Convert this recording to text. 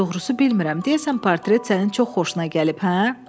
Doğrusu bilmirəm, deyəsən portret sənin çox xoşuna gəlib, hə?